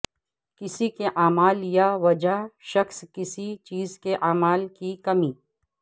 کسی کے اعمال یا وجہ شخص کسی چیز کے اعمال کی کمی